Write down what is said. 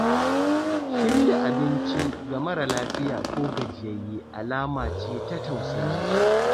Shirya abinci ga mara lafiya ko gajiyayye alama ce ta tausayi.